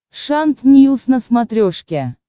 шант ньюс на смотрешке